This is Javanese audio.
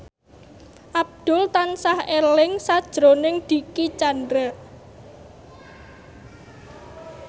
Abdul tansah eling sakjroning Dicky Chandra